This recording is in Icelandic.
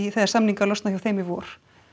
þegar samningar losna hjá þeim í vor